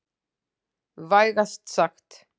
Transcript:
Vægast sagt.